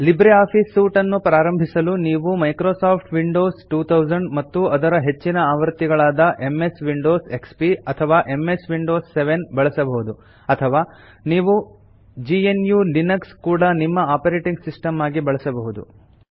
Libre Office suite ಅನ್ನು ಆರಂಭಿಸಲು ನೀವು ಮೈಕ್ರೊಸಾಫ್ಟ್ ವಿಂಡೋಸ್ 2000 ಮತ್ತು ಅದರ ಹೆಚ್ಚಿನ ಆವೃತ್ತಿಗಳಾದ ಎಂಎಸ್ ವಿಂಡೋಸ್ ಎಕ್ಸ್ಪಿ ಅಥವಾ ಎಂಎಸ್ ವಿಂಡೋಸ್ 7 ಬಳಸಬಹುದು ಅಥವಾ ನೀವು gnuಲಿನಕ್ಸ್ ಕೂಡಾ ನಿಮ್ಮ ಆಪರೇಟಿಂಗ್ ಸಿಸ್ಟಮ್ ಆಗಿ ಬಳಸಬಹುದು